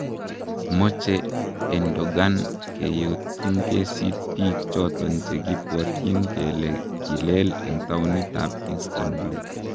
Moche Erdogan keyotinkesit biik choton chekibwotin kele kilel en taonit ab Instanbul.